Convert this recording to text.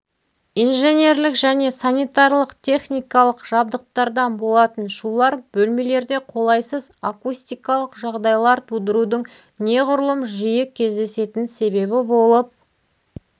инженерлік және санитарлық-техникалық жабдықтардан болатын шулар бөлмелерде қолайсыз акустикалық жағдайлар тудырудың неғұрлым жиі кездесетін себебі болып